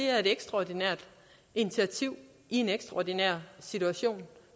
er et ekstraordinært initiativ i en ekstraordinær situation